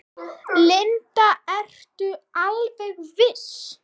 Linda: Ertu alveg viss?